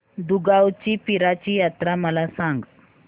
दुगावची पीराची यात्रा मला सांग